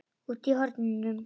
Úti í hornum.